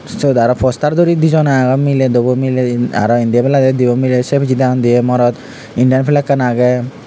syot aro poster duri dijoney agon miley duobo miley aro indi ebladi dibey miley sei pijedi agon dibey morot indian fleggan agey.